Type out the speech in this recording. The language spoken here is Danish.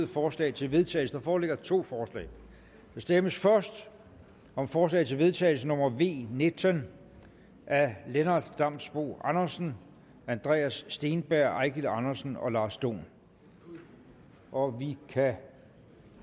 forslag til vedtagelse der foreligger to forslag der stemmes først om forslag til vedtagelse nummer v nitten af lennart damsbo andersen andreas steenberg eigil andersen og lars dohn og vi kan